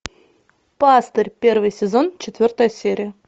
пастырь первый сезон четвертая серия